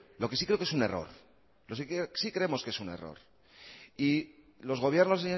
lo que sí creo que es un error sí creemos que es un error y los gobiernos